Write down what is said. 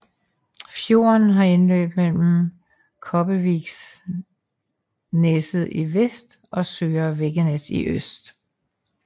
Fjorden har indløb mellem Kobbevikneset i vest og Søre Veggenes i øst